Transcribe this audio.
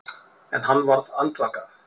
En hann varð andvaka.